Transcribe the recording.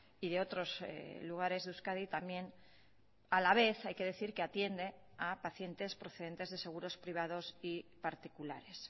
y de otros lugares de euskadi también a la vez hay que decir que atiende a pacientes procedentes de seguros privados y particulares